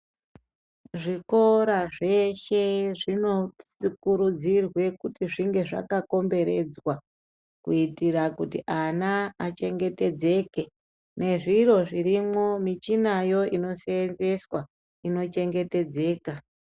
Zvikora zveshe zvinokurudzirwe kuti zvinge zvakakomberedzwa kuitira kuti ana achengetedzeke, nezviro zvirimwo michinayo inoseenzeswa ino chengetedze ka.